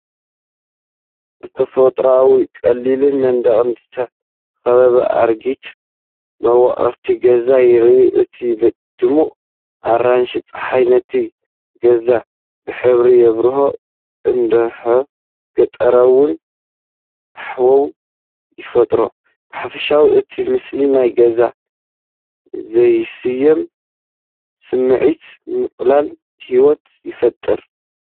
ብተፈጥሮኣውን ቀሊልን መንደቕ ዝተኸበበ ኣረጊት መዋቕር ገዛ ይርአ። እቲ ድሙቕ ኣራንሺ ጸሓይ ነቲ ገዛ ብሕብሪ የብርሆ፡ ህዱእን ገጠራውን ሃዋህው ይፈጥር። ብሓፈሻ እቲ ምስሊ ናይ ግዜ ዘይስምዖ ስምዒትን ምቕላል ህይወትን ይፈጥር።